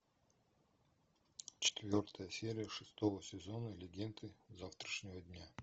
четвертая серия шестого сезона легенды завтрашнего дня